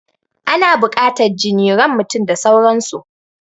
Ana buƙatan jini, ran mutum da sauran su